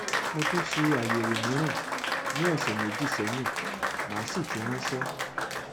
mo tún ṣe àyẹwò mìíràn ní ọsẹ méjì sẹyìn màá sì fi ránṣẹ